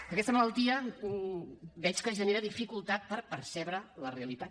que aquesta malaltia veig que genera dificultat per percebre la realitat